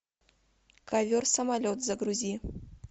ковер самолет загрузи